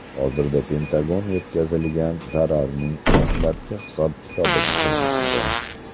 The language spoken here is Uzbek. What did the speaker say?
Hozirda Pentagon yetkazilgan zararning dastlabki hisob-kitobini qilmoqda.